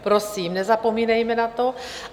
Prosím, nezapomínejme na to.